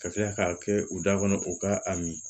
Ka tila k'a kɛ u da kɔnɔ u ka a min